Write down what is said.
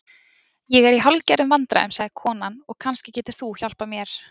Ég er í hálfgerðum vandræðum, sagði konan, og kannski getur þú hjálpað mér.